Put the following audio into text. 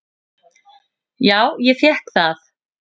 """Já, ég fékk það."""